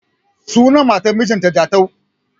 Sunan matar mijin ta Jatau